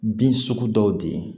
Bin sugu dɔw di